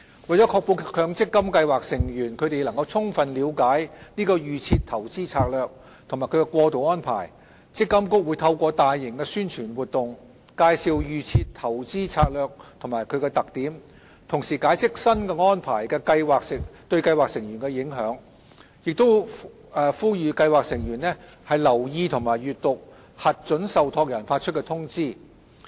為確保強積金計劃成員能充分了解"預設投資策略"及其過渡安排，積金局會透過大型宣傳活動，介紹"預設投資策略"及其特點，同時解釋新安排對計劃成員的影響，並呼籲計劃成員留意及閱讀核准受託人發出的通知。